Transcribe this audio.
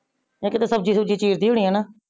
ਇਕ ਤਾ ਸਬਜੀ ਸੁਬ੍ਜੀ ਚੀਰ ਦੀ ਹੋਨੀਆ ਹੈਨਾ।